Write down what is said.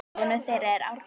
Sonur þeirra er Árni.